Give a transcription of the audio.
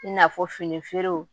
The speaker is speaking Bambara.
I n'a fɔ fini feerew